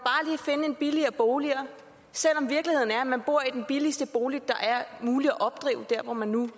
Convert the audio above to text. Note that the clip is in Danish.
finde en billigere bolig selv om virkeligheden er at man bor i den billigste bolig det er muligt at opdrive hvor man nu